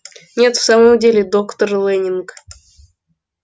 нет в самом деле доктор лэннинг